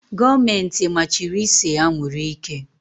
Gọọmenti machiri ise anwụrụ ike.